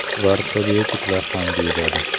Ular probiotiklar ham deyiladi.